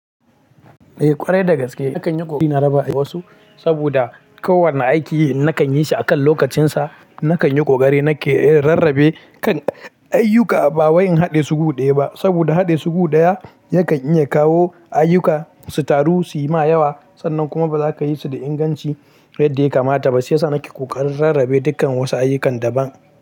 Eh ƙwarai dagaske nakan yi ƙoƙari na raba wasu saboda ko wanne aiki nakan yi shi akan lokacinsa. Nakan yi kokari nake rarrabe dukkan ayyuka ba wai in haɗe su guɗaya ba saboda haɗe su guɗaya yakan iya kawo ayyuka su taru suyi ma yawa sannan kuma bazaka yi su da inganci yadda yakamata ba. Shi sa nake ƙoƙarin rarrabe dukkan wasu ayyukan daban.